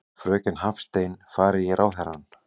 Fröken Hafstein fari í ráðherrann.